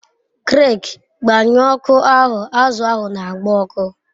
Greg, gbanyuo oku ahu, azu ahu n'agba oku